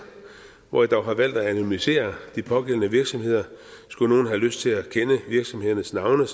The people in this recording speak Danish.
hvor jeg dog har valgt at anonymisere de pågældende virksomheder skulle nogen have lyst til at kende virksomhedernes navne